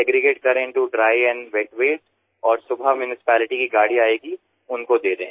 segregate करें into dry and wet वास्ते और सुबह म्यूनिसिपैलिटी की गाड़ी आयेगी उनको दे दें